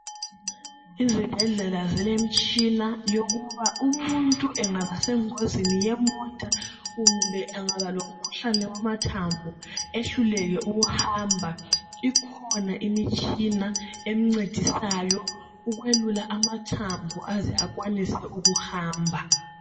Izibhedlela zilemitshina yokuba umuntu engaba sengozini yemota kumbe angabalomkhuhlane wamathambo, ehluleke ukuhamba ikhona imitshina emncedisayo ukwelula amathambo aze akwanise ukuhamba.